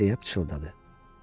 deyə çığladı.